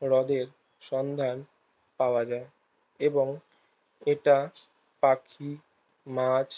হ্রদের সন্ধান পাওয়া যায় এবং এটা পাখি মাছ